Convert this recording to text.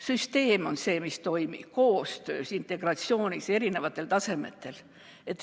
Süsteem on see, mis toimib koostöös, integratsioonis, eri tasemetel.